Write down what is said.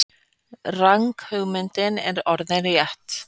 Ranghugmyndin er orðin rétt.